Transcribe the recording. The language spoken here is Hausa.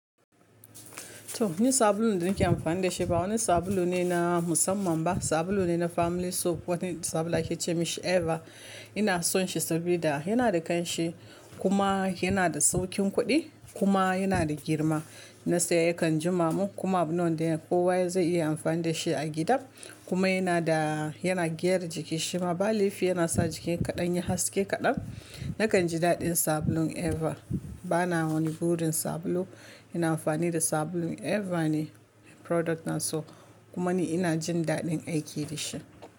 To ni sabulun da nake amfani dashi ba wani sabulune na musamman ba sabulu ne na Family Soap wani sabulu ake ce ma shi Eva. Ina son shi sabida yana da ƙanshi kuma yana da sauƙin kuɗi kuma yana da girma. Na saya kan jimamin kuma abune wanda kowa zai iya amfani da shi a gida. Kuma yana da, yana gyara jiki shima ba laifi yana sa jiki kaɗan yi haske kaɗan. Nakan ji daɗin sabulun Eva. Bana wani burin sabulu. Ina amfani da sabulun Eva ne product na soap kuma ni ina jin daɗin aiki da shi.